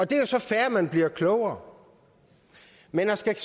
det er jo så fair at man bliver klogere men så skal